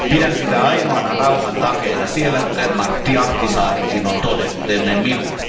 Pidän sitä ainoana rauhan takeena siellä, kuten Martti Ahtisaarikin on todennut ennen minua.